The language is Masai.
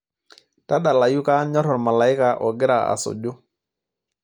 tadalayu kaanyor ormalaika ogira asuju